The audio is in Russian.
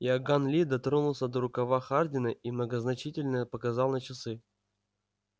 иоганн ли дотронулся до рукава хардина и многозначительно показал на часы